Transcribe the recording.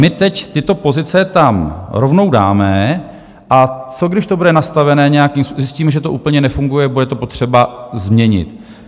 My teď tyto pozice tam rovnou dáme, a co když to bude nastavené nějakým - zjistíme, že to úplně nefunguje, bude to potřeba změnit?